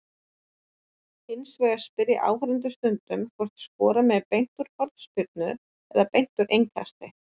Hins vegar spyrja áhorfendur stundum hvort skora megi beint úr hornspyrnu- eða beint úr innkasti.